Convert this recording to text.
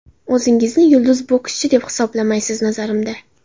O‘zingizni yulduz bokschi, deb hisoblamaysiz, nazarimda.